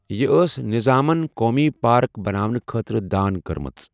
یہِ ٲس نظامَن قومی پارک بَناونہٕ خٲطرٕ دان کٔرمٕژ۔